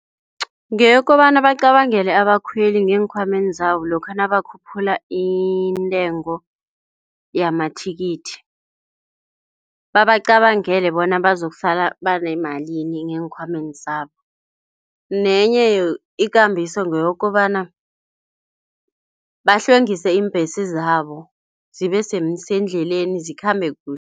Ngeyobokobana bacabangele abakhweli ngeenkhwameni zabo lokha nabo bakhuphula intengo yamathikithi. Babacabangele bona bazokusala banemalini ngeenkhwameni zabo, nenye ikambiso ngeyokobana bahlwengise iimbhesi zabo zibesendleleni zikhambe kuhle.